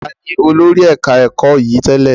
Taàní olórí ẹ̀ka ẹ̀kọ́ yìí tẹ́lẹ̀?